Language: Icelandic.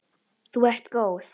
Þú ert góð!